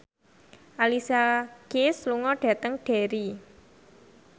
Alicia Keys lunga dhateng Derry